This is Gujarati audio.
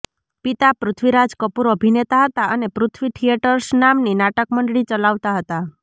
પિતા પૃથ્વીરાજ કપૂર અભિનેતા હતા અને પૃથ્વી થિયેટર્સ નામની નાટક મંડળી ચલાવતા હતા